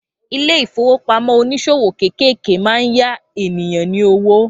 Ilé-ìfowópamọ́ oníṣòwò kéékèèké máa ń ya ènìyàn ní owó